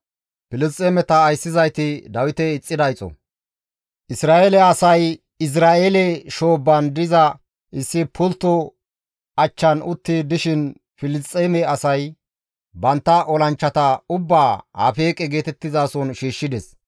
Isra7eele asay Izra7eele shoobbaan diza issi pultto achchan utti dishin Filisxeeme asay bantta olanchchata ubbaa Afeeqe geetettizason shiishshides.